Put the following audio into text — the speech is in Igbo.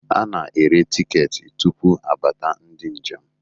a na-ere tiketi tupu abata ndị njem